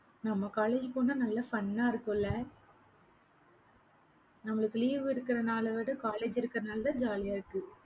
நம்ம college போனா நல்ல fun ஆ இருக்கும் இல்ல? நம்மளுக்கு leave இருக்கற நாளை விட college இருக்குற நாள் தான் jolly ஆ இருக்கு